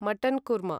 mutton korma